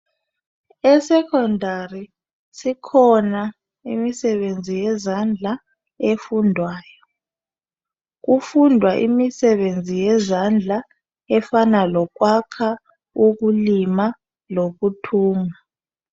E secondary sikhona imisebenzi yezandla efundwayo. Kufundwa imisebenzi yezandla efana lokwakha ukulima lokuthunga